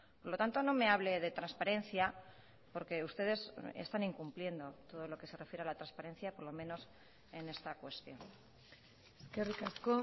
por lo tanto no me hable de transparencia porque ustedes están incumpliendo todo lo que se refiere a la transparencia por lo menos en esta cuestión eskerrik asko